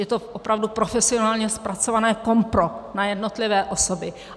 Je to opravdu profesionálně zpracované kompro na jednotlivé osoby.